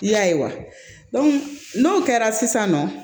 I y'a ye wa n'o kɛra sisan nɔ